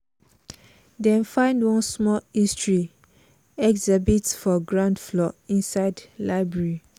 dem find one small history exhibit for ground floor inside library.